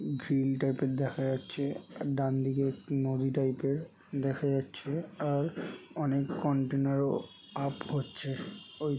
Grill type -এর দেখা যাচ্ছে। ডানদিকে নদী টাইপ -এর দেখা যাচ্ছে। আর অনেক কন্টেনারও আপ হচ্ছে । ওই--